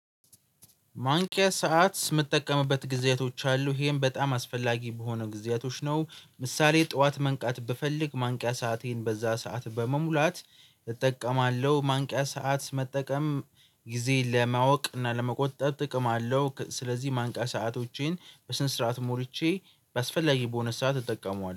ማንቂያ ሰዓት ስምጠቀምበት ጊዜያቶች አሉ ይሄን በጣም አስፈላጊ በሆነ ጊዜያቶች ነው ምሳሌ ጥዋት መንቃት ብፈልግ ማንቂያ ሰአቴን በዛ ሰዓት በመሙላት እጠቀማለሁ። ማንቂያ ሰዓት መጠቀም ጊዜ ለማወቅ እና ለመቆጠብ ጥቅም አለው። ስለዚህ ማንቂያ ሰዓቶቼን በስንት ስርዓት ሞልቼ በአስፈላጊ በሆነ ስዓት እጠቀመዋለሁ